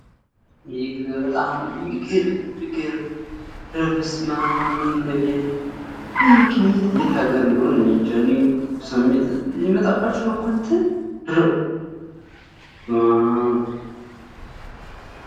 ይህ በጣም የሚገርም የሚገርም ይህ ቤት ይህ ግን የት ነው? የት ሀገር እንደሆነ እኔ እንጃ የሚመጣባችሁ እኮ እንትን በስማም!